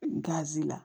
Gazi la